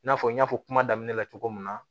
I n'a fɔ n y'a fɔ kuma daminɛ la cogo min na